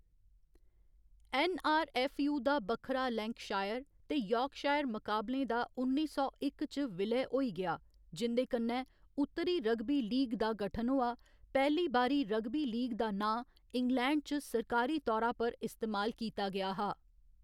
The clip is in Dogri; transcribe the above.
ऐन्न.आर.ऐफ्फ.यू. दा बक्खरा लैंकशायर ते यार्कशायर मकाबलें दा उन्नी सौ इक च विलय होई गेआ, जिं'दे कन्नै उत्तरी रग्बी लीग दा गठन होआ, पैह्‌ली बारी रग्बी लीग दा नांऽ इंग्लैंड च सरकारी तौरा पर इस्तेमाल कीता गेआ हा।